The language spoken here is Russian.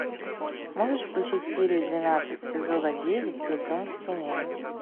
можешь включить серия двенадцать сезона девять лицом к стене